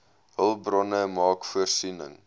hulpbronne maak voorsiening